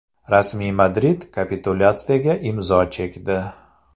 Rasmiy Madrid kapitulyatsiyaga imzo chekdi.